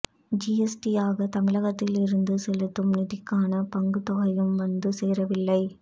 ஜிஎஸ்டியாக தமிழகத்தில் இருந்து செலுத்தும் நிதிக்கான பங்கு தொகையும் வந்து சேரவில்லை